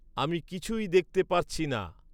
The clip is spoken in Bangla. আমি কিছুই দেখতে পারছি না